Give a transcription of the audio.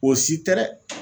O si tɛ dɛ